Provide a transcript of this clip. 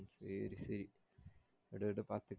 சேரி சேரி விடு விடு பாத்துக்கலாம்